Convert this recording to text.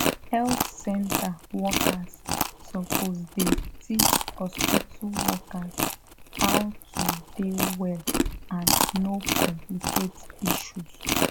health center workers suppose dey teach hospitu workers how to dey well and no complicate issues